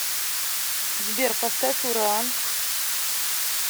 сбер поставь ураан